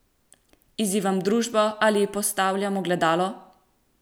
Izzivam družbo ali ji postavljam ogledalo?